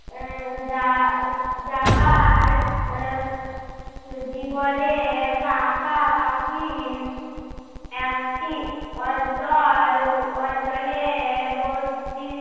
আহ যা~ যাবার এর জীবনে পাকাপাকি একটি অঞ্চল অঞ্চলে বস্তি